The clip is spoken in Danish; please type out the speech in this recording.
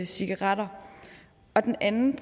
cigaretter den anden